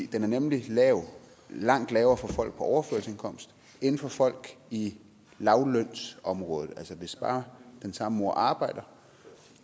den er nemlig langt lavere for folk på overførselsindkomst end for folk i lavtlønsområdet altså hvis bare den samme mor arbejder